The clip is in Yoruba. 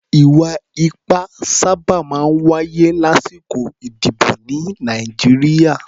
Ì̀wà-ipá sábà máa ń wáyé lásìkò ìdìbò ní Nàìjíríà.